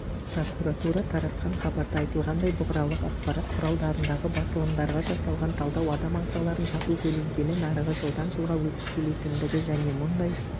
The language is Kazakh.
прокуратура таратқан хабарда айтылғандай бұқаралық ақпарат құралдарындағы басылымдарға жасалған талдау адам ағзаларын сату көленкелі нарығы жылдан жылға өсіп келетіндігі және мұндай